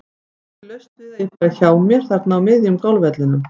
Það er ekki laust við að ég fari hjá mér þarna á miðjum golfvellinum.